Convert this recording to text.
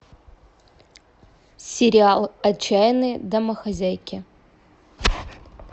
сериал отчаянные домохозяйки